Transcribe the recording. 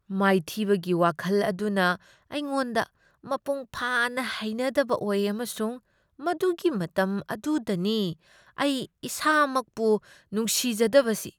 ꯃꯥꯏꯊꯤꯕꯒꯤ ꯋꯥꯈꯜ ꯑꯗꯨꯅ ꯑꯩꯉꯣꯟꯗ ꯃꯄꯨꯡꯐꯥꯅ ꯍꯩꯅꯗꯕ ꯑꯣꯏ ꯑꯃꯁꯨꯡ ꯃꯗꯨꯒꯤ ꯃꯇꯝ ꯑꯗꯨꯗꯅꯤ ꯑꯩ ꯏꯁꯥꯃꯛꯄꯨ ꯅꯨꯡꯁꯤꯖꯗꯕꯁꯤ꯫